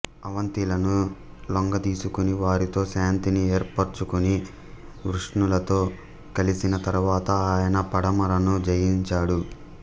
అవంతిలను లొంగదీసుకుని వారితో శాంతిని ఏర్పరచుకుని వృష్ణులతో కలిసిన తరువాత ఆయన పడమరను జయించాడు